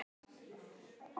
Efnið er að hluta til móberg.